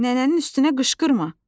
Nənənin üstünə qışqırma!